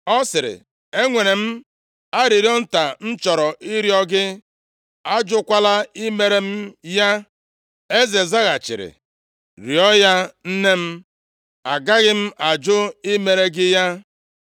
Ọ sịrị, “Enwere m arịrịọ nta m chọrọ ịrịọ gị. Ajụkwala i mere m ya.” Eze zaghachiri, “Rịọọ ya nne m. Agaghị m ajụ i mere gị ya.”